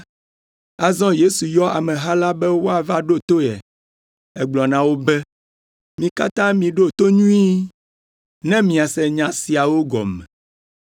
Azɔ Yesu yɔ ameha la be woava ɖo to ye. Egblɔ na wo be, “Mi katã miɖo to nyuie, ne miase nya siawo gɔme.